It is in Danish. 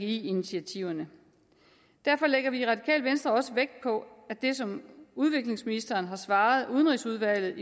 initiativerne derfor lægger vi i radikale venstre også vægt på at det som udviklingsministeren har svaret udenrigsudvalget